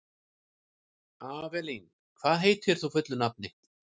Avelín, hvað heitir þú fullu nafni?